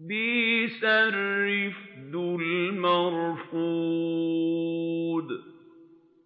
بِئْسَ الرِّفْدُ الْمَرْفُودُ